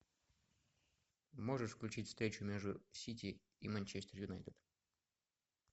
можешь включить встречу между сити и манчестер юнайтед